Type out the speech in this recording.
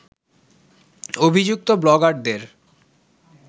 অভিযুক্ত ব্লগারদের